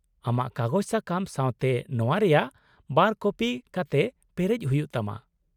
-ᱟᱢᱟᱜ ᱠᱟᱜᱚᱡᱽ ᱥᱟᱠᱟᱢ ᱥᱟᱶᱛᱮ ᱱᱚᱶᱟ ᱨᱮᱭᱟᱜ ᱵᱟᱨ ᱠᱚᱯᱤ ᱠᱟᱛᱮ ᱯᱮᱨᱮᱡ ᱦᱩᱭᱩᱜ ᱛᱟᱢᱟ ᱾